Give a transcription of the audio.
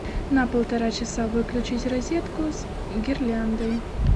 на полтора часа выключить розетку с гирляндой